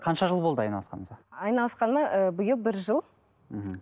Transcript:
қанша жыл болды айналысқаныңызға айналысқаныма ы биыл бір жыл мхм